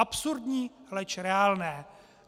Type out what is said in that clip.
Absurdní, leč reálné.